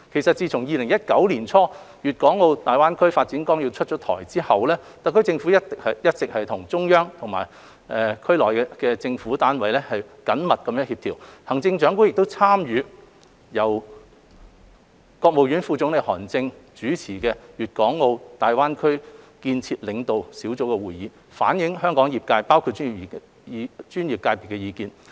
自2019年年初《粵港澳大灣區發展規劃綱要》出台之後，特區政府一直與中央及區內政府單位緊密協調，行政長官亦參與由國務院副總理韓正主持的粵港澳大灣區建設領導小組會議，反映香港業界包括專業界別的意見。